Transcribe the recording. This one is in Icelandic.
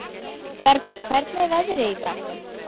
Bergur, hvernig er veðrið í dag?